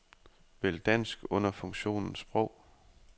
Vælg dansk under funktionen sprog.